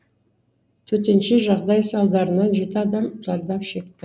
төтенше жағдай салдарынан адам зардап шекті